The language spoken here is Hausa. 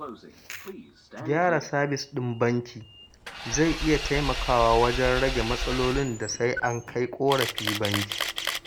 Gyara sabis ɗin banki zai iya taimakawa wajen rage matsalolin da sai an kai ƙorafi banki